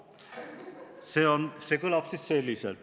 See kõlab selliselt: "Muudame [...